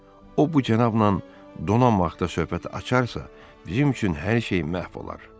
O bu cənabla donan vaxta söhbət açarsa, bizim üçün hər şey məhv olar.